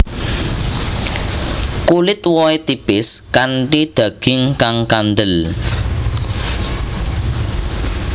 Kulit wohé tipis kanthi daging kang kandel